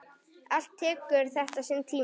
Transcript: Allt tekur þetta sinn tíma.